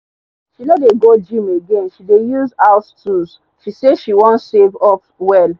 she no dey go gym again she dey use house tools she say she wan save up well